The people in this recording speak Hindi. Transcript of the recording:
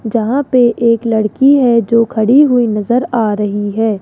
जहां पे एक लड़की है जो खड़ी हुई नजर आ रही है।